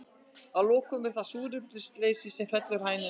Að lokum er það súrefnisleysi sem fellir hænuna.